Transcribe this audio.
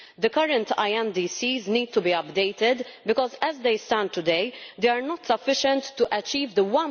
The current INDCs need to be updated because, as they stand today, they are not sufficient to achieve the